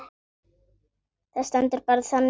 Það stendur bara þannig á.